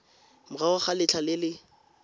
morago ga letlha le le